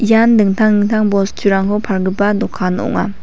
ian dingtang dingtang bosturangko palgipa dokan ong·a.